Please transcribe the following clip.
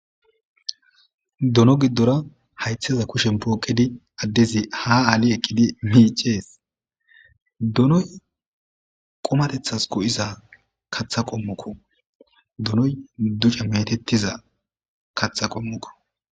Dono giddora haytheza kushen pooqedi addezi ha aali eqqidi miicees donoy qomatethas go'iza katha qommukko donoy duca metettiza katha qommuko.